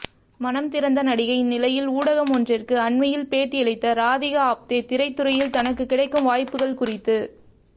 மனம் திறந்த நடிகை இந்நிலையில் ஊடகம் ஒன்றிற்கு அண்மையில் பேட்டியளித்த ராதிகா ஆப்தே திரைத்துறையில் தனக்கு கிடைக்கும் வாய்ப்புகள் குறித்து